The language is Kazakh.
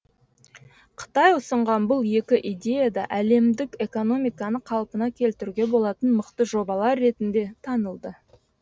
қытай ұсынған бұл екі идея да әлемдік экономиканы қалпына келтіруге болатын мықты жобалар ретінде танылды